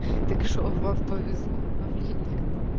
так что вам повезло а мне нет